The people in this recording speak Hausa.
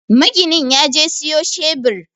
Maginin yaje siyo cebir